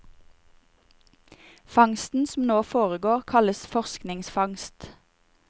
Fangsten som nå foregår kalles forskningsfangst.